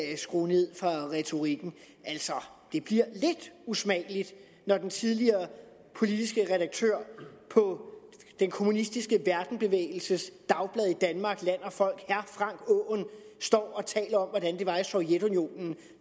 skrue ned for retorikken altså det bliver lidt usmageligt når den tidligere politiske redaktør på den kommunistiske verdensbevægelses dagblad i danmark land og folk herre frank aaen står og taler om hvordan det var i sovjetunionen